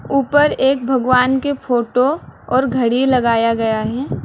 ऊपर एक भगवान की फोटो और घड़ी लगाया गया है।